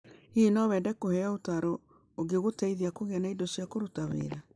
Hihi no wende kũheo ũtaaro ũngĩgũteithia kũgĩa na indo cia kũruta wĩra?